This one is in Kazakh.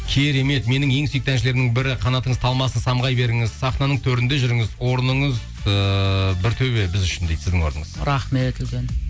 керемет менің ең сүйікті әншілерімнің бірі қанатыңыз талмасын самғай беріңіз сахнаның төрінде жүріңіз орныңыз ыыы бір төбе біз үшін дейді сіздің орныңыз рахмет үлкен